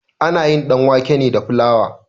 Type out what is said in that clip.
Ana yin ɗanwake ne da filawa.